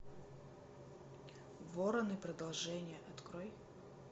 вороны продолжение открой